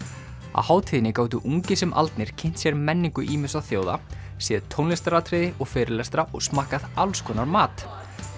á hátíðinni gátu ungir sem aldnir kynnt sér menningu ýmissa þjóða séð tónlistaratriði og fyrirlestra og smakkað alls konar mat